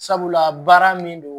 Sabula baara min don